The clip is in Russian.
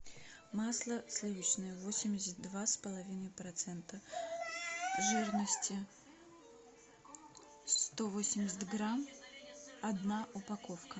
масло сливочное восемьдесят два с половиной процента жирности сто восемьдесят грамм одна упаковка